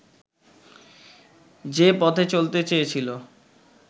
যে-পথে চলতে চেয়েছিলো